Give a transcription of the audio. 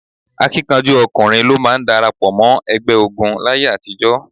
Akíkanjú ọkùnrin ló máa ń darapọ̀ mọ́ ẹgbẹ́ ogun láyé àtijọ́.